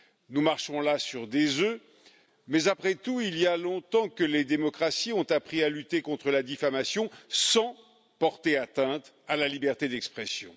Nous marchons là sur des œufs, mais après tout, il y a longtemps que les démocraties ont appris à lutter contre la diffamation sans porter atteinte à la liberté d'expression.